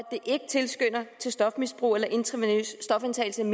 det ikke tilskynder til mere stofmisbrug eller intravenøs stofindtagelse end